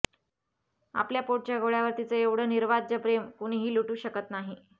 आपल्या पोटच्या गोळ्यावर तिच्या एवढं निर्वाज्ज प्रेम कुणीही लुटू शकत नाही